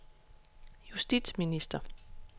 justitsminister